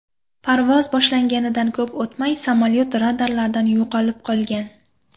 Parvoz boshlanganidan ko‘p o‘tmay, samolyot radarlardan yo‘qolib qolgan.